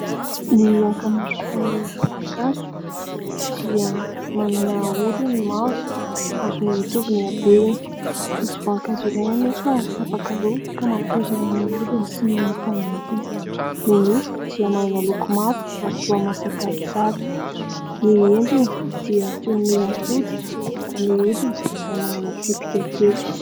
Ny ankamaroan'ny voankazo dia manana hodiny mavo ary mitovy ny habeny, misy voankazo iray anefa tapaka roa ka mampiray amin'ny hodiny sy ny nofo ao anatiny, ny nofo dia manana loko mavo ary toa masaka tsara, ny endriny dia toy ny adoty ary ny hodiny dia manana tsipika kely.